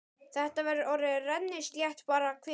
Þetta verður orðið rennislétt bara hvenær?